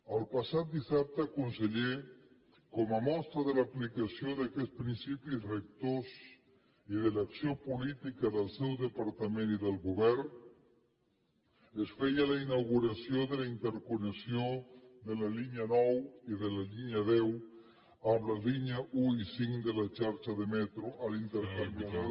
el passat dissabte conseller com a mostra de l’aplicació d’aquests principis rectors i de l’acció política del seu departament i del govern es feia la inauguració de la interconnexió de la línia nou i de la línia deu amb la línia un i cinc de la xarxa de metro a l’intercanviador